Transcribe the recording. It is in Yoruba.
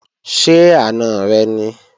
Ṣé àna rẹ ni?